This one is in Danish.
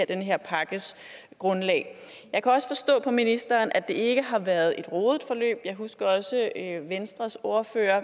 den her pakkes grundlag jeg kan også forstå på ministeren at det ikke har været et rodet forløb jeg husker også at venstres ordfører